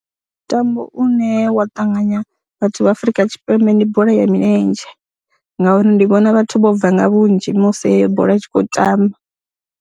Mutambo une wa ṱanganya vhathu vha Afrika Tshipembe ndi bola ya milenzhe ngauri ndi vhona vhathu vho bva nga vhunzhi musi heyo bola i tshi khou tamba.